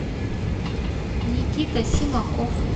никита симаков